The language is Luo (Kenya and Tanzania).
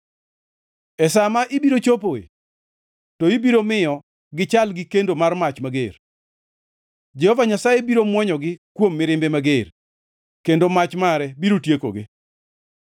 E sa ma ibiro chopoe, to ibiro miyo gichal gi kendo mar mach mager. Jehova Nyasaye biro mwonyogi kuom mirimbe mager, kendo mach mare biro tiekogi.